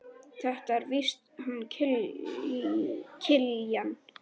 Þetta er víst hann Kiljan.